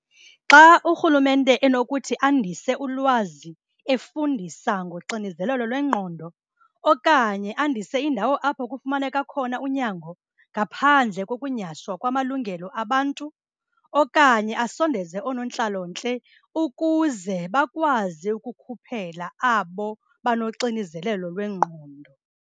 Xa urhulumente enokuthi andise ulwazi efundisa ngoxinzelelo lwengqondo okanye andise indawo apho kufumaneka khona unyango ngaphandle kokunyhashwa kwamalungelo abantu okanye asondeze oonontlalontle ukuze bakwazi ukukhuphela abo banoxinzelelo lwengqondo.